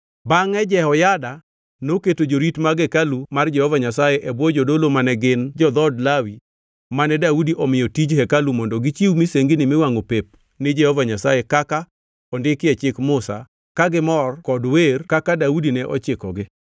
Bangʼe Jehoyada noketo jorit mag hekalu mar Jehova Nyasaye e bwo jodolo mane gin jo-dhood Lawi mane Daudi omiyo tij hekalu mondo gichiw misengini miwangʼo pep ni Jehova Nyasaye kaka ondikgi e Chik Musa ka gimor kod wer kaka Daudi ne ochikogi.